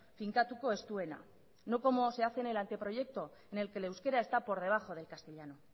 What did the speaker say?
finkatuko ez duena no como se hace en el anteproyecto en el que el euskera está por debajo del castellano